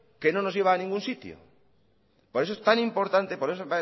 que no nos lleva a ningún sitio por eso es tan importante por eso